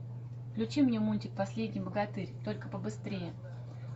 включи мне мультик последний богатырь только по быстрее